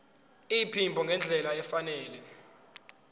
iphimbo ngendlela efanele